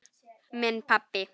Minn pabbi.